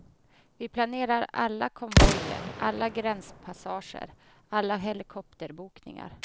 Vi planerar alla konvojer, alla gränspassager, alla helikopterbokningar.